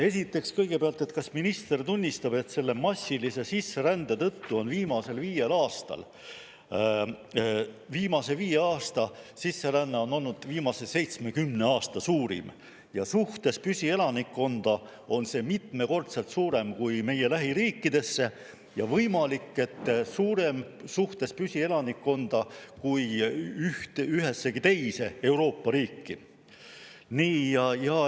Esiteks, kõigepealt, kas minister tunnistab, et selle massilise sisserände tõttu on viimase viie aasta sisseränne olnud viimase 70 aasta suurim ja suhtes püsielanikkonda on see mitmekordselt suurem kui meie lähiriikidesse ja võimalik, et suurem suhtes püsielanikkonda kui ühessegi teise Euroopa riiki?